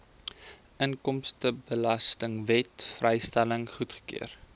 inkomstebelastingwet vrystelling goedgekeur